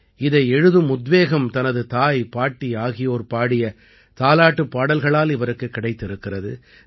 இதை எழுதும் உத்வேகம் தனது தாய் பாட்டி ஆகியோர் பாடிய தாலாட்டுப் பாடல்களால் இவருக்குக் கிடைத்திருக்கிறது